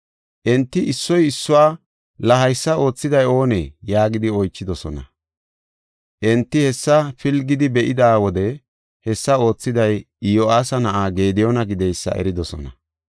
Enti issoy issuwa, “La haysa oothiday oonee?” yaagidi oychidosona. Enti hessa pilgidi be7ida wode hessa oothiday Iyo7aasa na7aa Gediyoona gideysa eridosona.